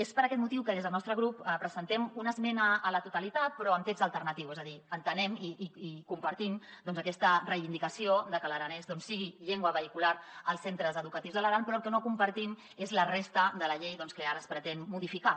és per aquest motiu que des del nostre grup presentem una esmena a la totalitat però amb text alternatiu és a dir entenem i compartim aquesta reivindicació de que l’aranès doncs sigui llengua vehicular als centres educatius de l’aran però el que no compartim és la resta de la llei que ara es pretén modificar